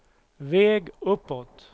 väg uppåt